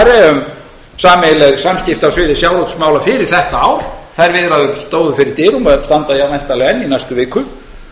um sameiginleg samskipti á sviði sjávarútvegsmála fyrir þetta ár þær viðræður stóðu fyrir dyrum og standa væntanlega enn í næstu viku